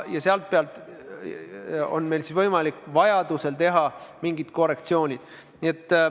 Selle põhjal on meil võimalik vajadusel teha mingid korrektsioonid.